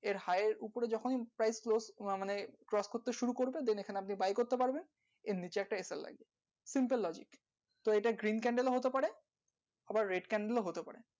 এর high এর উপরে যখন price মানে cross করতে শুরু করবে then এখানে আপনি buy করতে পারবেন এর নিচে একটা লাগবে simple logic তো এটা green candle ও হতে পারে আবার red candle ও হতে পারে